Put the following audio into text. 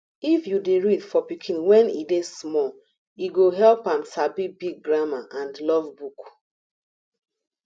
if u dey read for pikin when e small e go help am sabi big grammar and love book